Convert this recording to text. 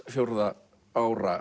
fjórði ára